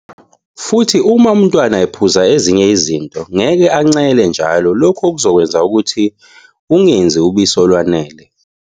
Futhi, uma umntwana ephuza ezinye izinto, ngeke ancele njalo lokho okuzokwenza ukuthi ungenzi ubisi olwanele.